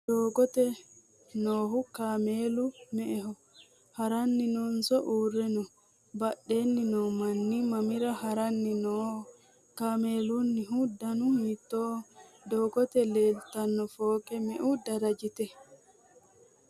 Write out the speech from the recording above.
doggote noohu cameelu me'eho? haranni noonso uure no? badheenni no manni mamira haranni nooho? cameelunnihu dannu hiitoho? gonnete leelitano foqqe me'u darajitte?